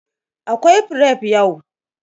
Akwai fref yau.